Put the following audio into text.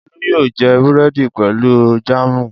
Olú yóò jẹ búrẹ́dì pẹ̀lú jáámù.